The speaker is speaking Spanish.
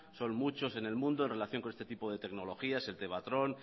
son muchos en el mundo en relación con este tipo de tecnologías el tevatron